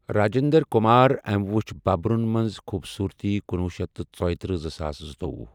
راجِنٛدر کُمار أمۍ وٕچھ بُبرَن منٛز خوٗبصوٗرتی کنوُہ شیتھ تہٕ ژٔیِتٔرہ زٕساس زٕتوۄہُ۔